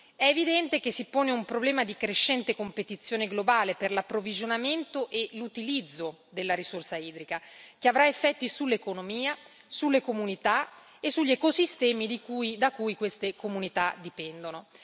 È evidente che si pone un problema di crescente competizione globale per l'approvvigionamento e l'utilizzo della risorsa idrica, che avrà effetti sull'economia, sulle comunità e sugli ecosistemi da cui queste comunità dipendono.